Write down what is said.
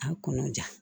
A kɔnɔja